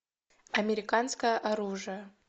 американское оружие